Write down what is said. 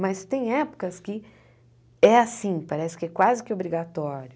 Mas tem épocas que é assim, parece que é quase que obrigatório